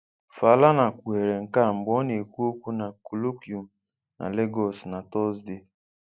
Falana kpughere nke a mgbe ọ na-ekwu okwu na colloquium na Lagos na Tọzdee.